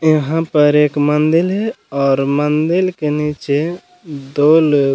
यहाँ पे एक मंदील है और मंदील के नीचे दो लोग --